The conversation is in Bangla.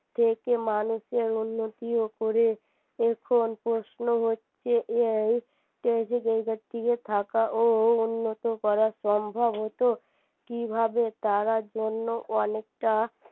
থেকে মানুষের উন্নতি ও করে এখন প্রশ্ন হচ্ছে এই থাকা ও উন্নত করা সম্ভব হত কিভাবে তারা জন্য অনেকটা